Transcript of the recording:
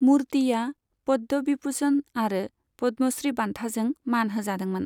मुर्तिआ पद्म बिभुषण आरो पद्म श्री बान्थाजों मान होजादोंमोन।